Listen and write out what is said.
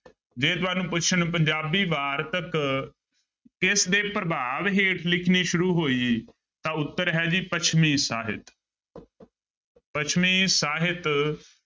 ਜੇ ਤੁਹਾਨੂੰ ਪੁੱਛਣ ਪੰਜਾਬੀ ਵਾਰਤਕ ਕਿਸਦੇ ਪ੍ਰਭਾਵ ਹੇਠ ਲਿਖਣੀ ਸ਼ੁਰੂ ਹੋਈ ਤਾਂ ਉੱਤਰ ਹੈ ਜੀ ਪੱਛਮੀ ਸਾਹਿਤ ਪੱਛਮੀ ਸਾਹਿਤ।